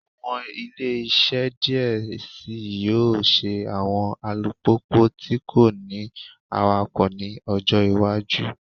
Awọn ile-iṣẹ diẹ sii yoo ṣe awọn alupupu ti ko ni awakọ ni ọjọ iwaju